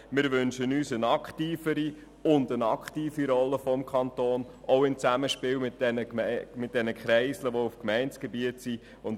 Wir wünschen uns eine aktivere Rolle des Kantons, auch im Zusammenspiel bezüglich der Kreisel, die sich auf Gemeindegebiet befinden.